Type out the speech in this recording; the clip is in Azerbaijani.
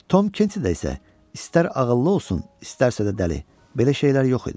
Tom Kentidə isə istər ağıllı olsun, istərsə də dəli, belə şeylər yox idi.